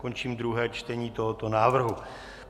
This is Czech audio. Končím druhé čtení tohoto návrhu.